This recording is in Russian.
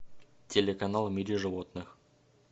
телеканал в мире животных